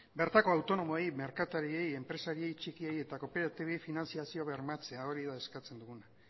bertako autonomoei merkatariei enpresari txikiei eta kooperatibei finantzazio bermatzea hori da eskatzen duguna